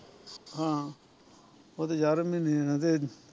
ਹਾਂ ਉਹ ਤੇ ਜਾਰਵੇ ਮਹੀਨੇ ਜਾਣਾ ਤੇ